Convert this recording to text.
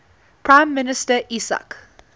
prime minister yitzhak